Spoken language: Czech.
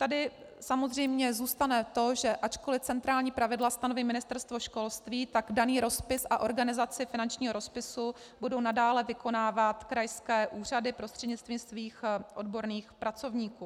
Tady samozřejmě zůstane to, že ačkoli centrální pravidla stanoví Ministerstvo školství, tak daný rozpis a organizaci finančního rozpisu budou nadále vykonávat krajské úřady prostřednictvím svých odborných pracovníků.